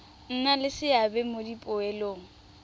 nna le seabe mo dipoelong